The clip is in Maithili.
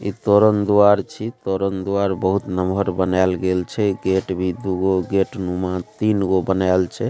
इ तोरण द्वार छी तोरण द्वार बहुत लमहर बन्याल गइल छै इ गेट भी दुगो गेट नुमा तीनगो बनायल छै।